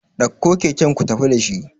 ɗauko kaken ku tafi da shi